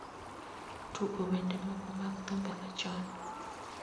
Tugo wende moko mag thumbe machon